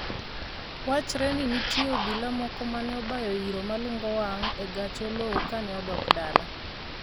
wachre ni nitie obila moko mane obayo iro malungo wang' e gach Oloo kane odok dala